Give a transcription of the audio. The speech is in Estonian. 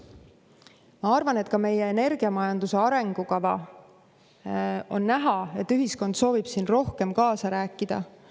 Minu arvates on näha, et ka meie energiamajanduse arengukava teemal ühiskond soovib rohkem kaasa rääkida.